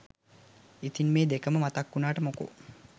ඉතින් මේ දෙකම මතක් වුනාට මොකෝ